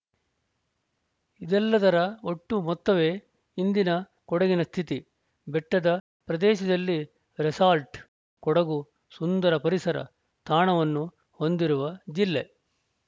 ಇದೆಲ್ಲದರ ಒಟ್ಟು ಮೊತ್ತವೇ ಇಂದಿನ ಕೊಡಗಿನ ಸ್ಥಿತಿ ಬೆಟ್ಟದ ಪ್ರದೇಶದಲ್ಲಿ ರೆಸಾರ್ಟ್‌ ಕೊಡಗು ಸುಂದರ ಪರಿಸರ ತಾಣವನ್ನು ಹೊಂದಿರುವ ಜಿಲ್ಲೆ